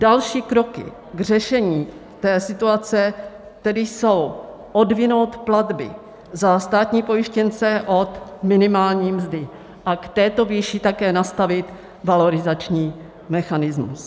Další kroky k řešení té situace tedy jsou odvinout platby za státní pojištěnce od minimální mzdy a k této výši také nastavit valorizační mechanismus.